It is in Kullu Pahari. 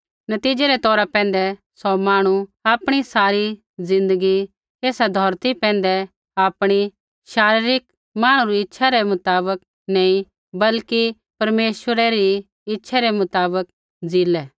नतीज़ै रै तौरा पैंधै सौ मांहणु आपणी सारी ज़िन्दगी ऐसा धौरती पैंधै आपणी शारीरिक मांहणु री इच्छै रै मुताबक नी बल्कि परमेश्वरै री इच्छै रै मुताबक ज़ीलै